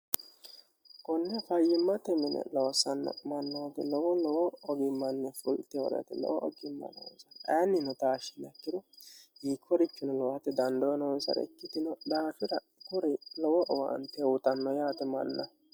konne fayyimmatennine lowosanna mannooti lowo lowo ogimmanni fultehoreti lowo ogimma noosa aannino taashshi lakkiru yii korichino lowote dandoo noonsare ikkitino daafira kuri lowo owaanti hehutanno yaate manna